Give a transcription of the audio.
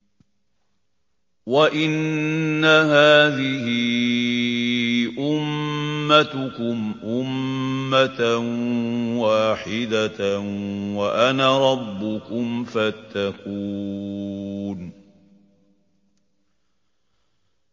وَإِنَّ هَٰذِهِ أُمَّتُكُمْ أُمَّةً وَاحِدَةً وَأَنَا رَبُّكُمْ فَاتَّقُونِ